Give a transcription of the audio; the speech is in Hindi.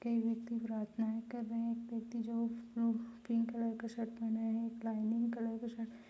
कई व्यक्ति प्राथनाए कर रहे है एक व्यक्ति जो पिंक कलर का शर्ट पहना है एक लाइनिंग कलर की शर्ट --